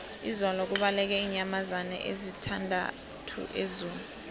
izolo kubaleke iinyamazana ezisithandathu ezoo